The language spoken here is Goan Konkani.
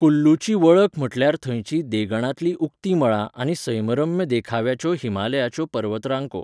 कुल्लूची वळख म्हटल्यार थंयचीं देंगणांतलीं उक्ती मळां आनी सैमरम्य देखाव्याच्यो हिमालयाच्यो पर्वतरांको.